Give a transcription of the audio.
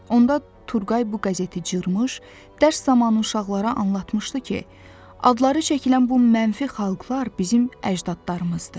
Onda Turqay bu qəzeti cırmış, dərs zamanı uşaqlara anlatmışdı ki, adları çəkilən bu mənfi xalqlar bizim əcdadlarımızdır.